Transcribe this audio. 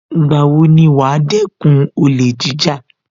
Ìgbà wo ni wàá dẹ́kun olè jíjà